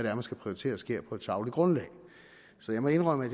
er man skal prioritere sker på et sagligt grundlag så jeg må indrømme at